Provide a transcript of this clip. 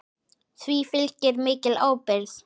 Því fylgir mikil ábyrgð.